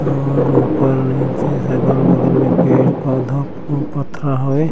अऊ ऊपर नीचे अगल-बगल मे पेड़-पौधा फूल पथरा हवे।